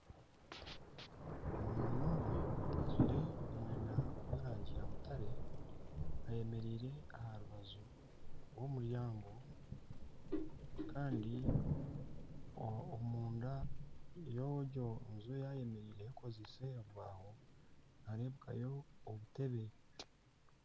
Omwana omwe ajwaire omwenda gw'erangi ya mutare ayemereire aha rubaju rw'omuryango kandi omunda y'egyo nju eyayemereireho ekozirwe omu bibaho nibareebekayo obutebe.